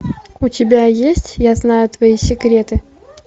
у тебя есть я знаю твои секреты